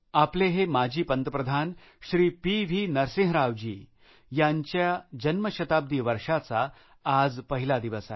आपले हे माजी पंतप्रधान श्री पी व्ही नरसिंहरावजी यांच्या जन्मशताब्दी वर्षाचा आज पहिला दिवस आहे